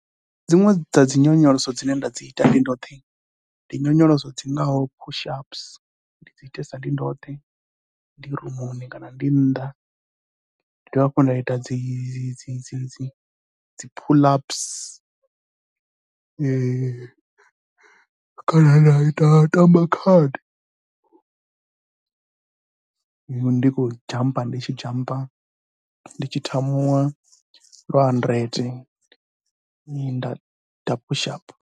Dziṅwe dza dzi nyonyoloso dzine nda dzi ita ndi ndoṱhe ndi nyonyoloso dzi ngaho push ups, ndi dzi itesa ndi ndoṱhe ndi rumuni kana ndi nnḓ. Nda dovha hafhu nda ita dzi dzi dzi pull ups kana nda ita, nda tamba khadi, ndi khou dzhampa ndi tshi dzhampa, ndi tshi thamuwa lwa handirente nda ita push ups.